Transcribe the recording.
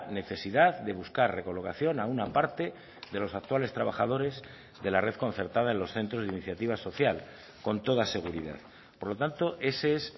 necesidad de buscar recolocación a una parte de los actuales trabajadores de la red concertada en los centros de iniciativa social con toda seguridad por lo tanto ese es